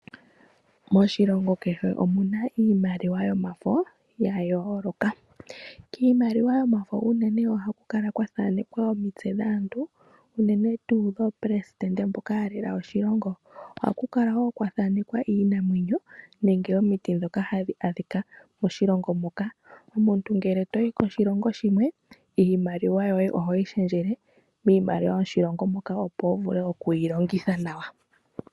Moshilongo kehe omuna iimaliwa yomafo yayooloka. Kiimaliwa yomafo unene ohaku kala kwathaanekwa omitse dhaantu unene tuu oPresident mboka yalela oshilongo. Ohaku kala wo kwathanekwa iinamwenyo nenge omiti dhoka hadhi adhika moshilongo moka. Omuntu ngele toyi koshilongo shimwe iimaliwa yoye ohoyi shendjele miimaliwa yoshilongo moka opo wuvule okuyilongitha nawa.